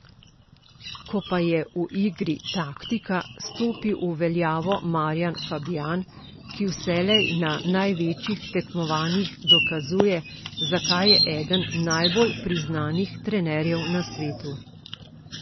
Ko pa je v igri taktika, stopi v veljavo Marjan Fabjan, ki vselej na največjih tekmovanjih dokazuje, zakaj je eden najbolj priznanih trenerjev na svetu.